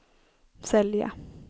sälja